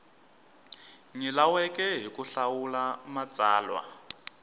nyilaweke hi ku hlawula matsalwa